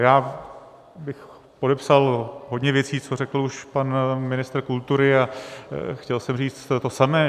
Já bych podepsal hodně věcí, co řekl už pan ministr kultury, a chtěl jsem říct to samé.